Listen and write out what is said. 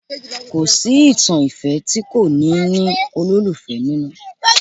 Kò sí ìtàn ìfẹ́ tí kò ní ní olólùfẹ́ nínú